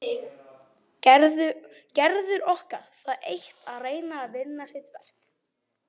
Gerður orkar það eitt að reyna að vinna sitt verk.